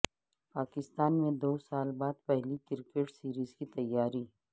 پاکستان میں دوسال بعد پہلی کرکٹ سیریز کی تیاریاں